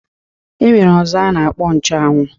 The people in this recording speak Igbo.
E nwere ọzọ a na-akpọ nchuanwu